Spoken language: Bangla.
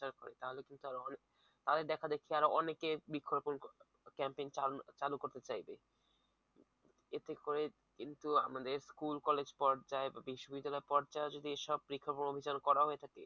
তাহলে কিন্তু তাদের দেখা দেখি অনেকেই বৃক্ষ রোপন campagin চালু করতে চাইবে। এতে করে কিন্তু আমাদের স্কুল কলেজ পর্যায়ে বা বিশ্ববিদ্যালয় পর্যায়ে যদি এই সব বৃক্ষ রোপন অভিযান করা হয়ে থাকে